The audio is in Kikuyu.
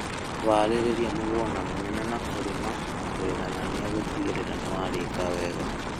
Harĩria mũgũnda mũnene na kũrĩma na kũiganania gũtigĩrĩra nĩwarika wega